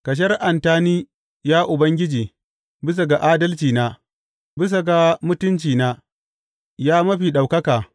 Ka shari’anta ni Ya Ubangiji, bisa ga adalcina, bisa ga mutuncina, ya Mafi Ɗaukaka.